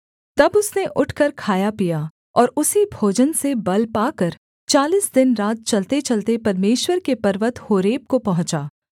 तब उसने उठकर खाया पिया और उसी भोजन से बल पाकर चालीस दिनरात चलतेचलते परमेश्वर के पर्वत होरेब को पहुँचा